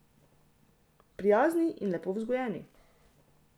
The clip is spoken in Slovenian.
Prijazni in lepo vzgojeni.